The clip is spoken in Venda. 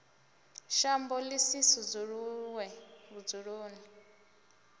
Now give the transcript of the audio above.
shambo ḓi si sudzuluwe vhudzuloni